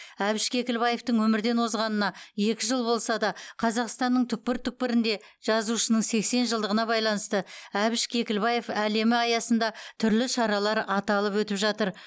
әбіш кекілбаевтың өмірден озғанына екі жыл болса да қазақстанның түкпір түкпірінде жазушының сексен жылдығына байланысты әбіш кекілбаев әлемі аясында түрлі шаралар аталып өтіп жатыр